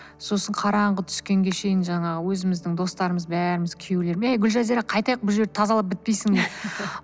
сосын қараңғы тускенге шейін жаңағы өзіміздің достарымыз бәріміз күйеулерім әй гүлжазира қайтайық бұл жерді тазалап бітпейсіңдер